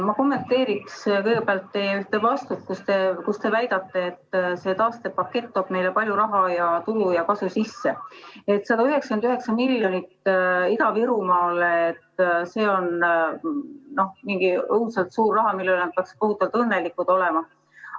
Ma kommenteerin kõigepealt teie ühte vastust, kus te väitsite, et see taastepakett toob meile palju raha ja tulu ja kasu, et 199 miljonit Ida-Virumaale on mingi õudselt suur raha, mille üle me peaks kohutavalt õnnelikud olema.